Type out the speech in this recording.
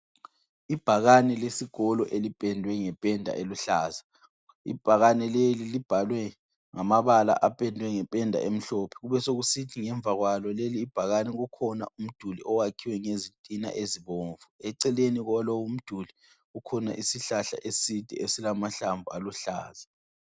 Ibhakane lesikolo elipendwe ngependa eluhlaza. Ibhakane leli libhalwe ngamabala apendwe ngependa emhlophe kubesokusithi ngemva kwalo lelibhakane kukhona umduli owakhiwe ngezitina ezibomvu. Eceleni kwalowu umduli kukhona isihlahla eside esilamahlamvu aluhlaza.